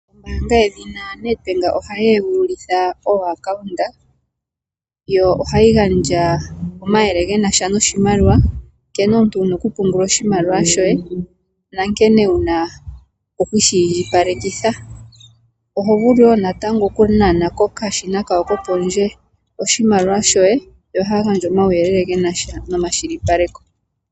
Ombaanga yedhina NEDBANK ohayi egululitha ooacounta yo ohayi gandja omayele genasha noshimaliwa nkene omuntu wuna okutuma oshimaliwa shoye nankene wuna okushi indjipalekitha oho vulu wo natango okunana kokashina kawo kopondje oshimaliwa shoye yo ohaa gandja omauyelele genasha nomakwashilipaleko.